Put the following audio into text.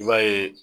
I b'a ye